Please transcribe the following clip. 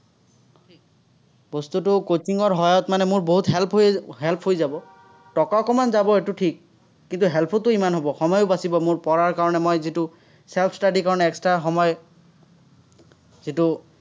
বস্তুটো coaching ৰ সহায়ত মানে মোৰ বহুত help হৈ help হৈ যাব। টকা অকণমান যাব, সেইটো ঠিক। কিন্তু, help ওটো ইমান হ'ব, সময়ো বাচিব মোৰ পঢ়াৰ কাৰণে যিটো self study ৰ কাৰণে extra সময় যিটো,